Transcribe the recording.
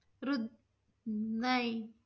रुद् उम्म~ नाही.